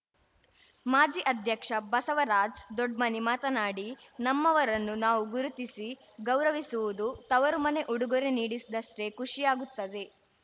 ಮಾಜಿ ಅಧ್ಯಕ್ಷ ಬಸವರಾಜ್ ದೊಡ್ಮನಿ ಮಾತನಾಡಿ ನಮ್ಮವರನ್ನು ನಾವು ಗುರುತಿಸಿ ಗೌರವಿಸುವುದು ತವರು ಮನೆ ಉಡುಗೊರೆ ನೀಡಿದಷ್ಟೇ ಖುಷಿಯಾಗುತ್ತದೆ